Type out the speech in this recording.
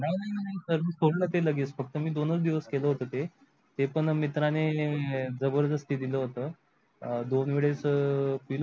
नाही नाही सर मी सोडल ते लगेच फक्त मी दोनच दिवस केलं होतं ते ते पण मित्राने जबरदस्ती दिलं होतं दोन वेळेस पिलो.